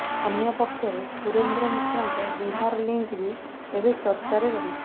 ଅନ୍ୟପକ୍ଷରେ ସୁରେନ୍ଦ୍ର ମିଶ୍ରଙ୍କ ବିହାର ଲିଙ୍କ୍ ବି ଏବେ ଚର୍ଚ୍ଚାରେ ରହିଛି